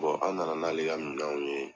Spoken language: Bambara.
an na na n'ale ka minɛnw ye.